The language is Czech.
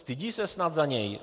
Stydí se snad za něj?